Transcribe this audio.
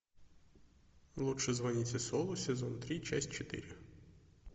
лучше звоните солу сезон три часть четыре